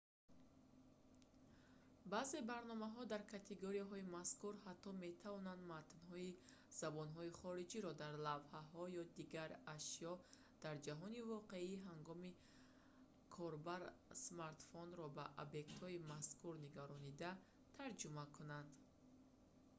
баъзе барномаҳо дар категорияи мазкур ҳатто метавонанд матнҳои забонҳои хориҷиро дар лавҳаҳо ё дигар ашё дар ҷаҳони воқеӣ ҳангоми ҳангоми корбар смартфонро ба объектҳои мазкур нигарондан тарҷума кунанд